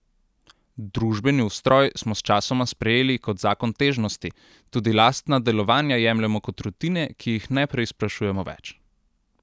Družbeni ustroj smo sčasoma sprejeli kot zakon težnosti, tudi lastna delovanja jemljemo kot rutine, ki jih ne preizprašujemo več.